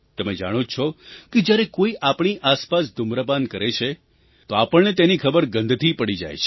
તમે જાણો જ છો કે જ્યારે કોઈ આપણી આસપાસ ધૂમ્રપાન કરે છે તો આપણને તેની ખબર ગંધથી પડી જાય છે